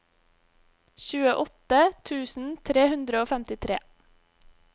tjueåtte tusen tre hundre og femtitre